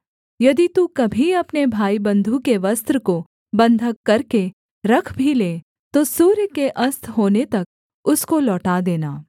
यदि तू कभी अपने भाईबन्धु के वस्त्र को बन्धक करके रख भी ले तो सूर्य के अस्त होने तक उसको लौटा देना